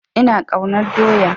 Ina ƙaunar doya